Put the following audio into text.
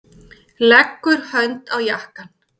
Leggur hönd á jakkann.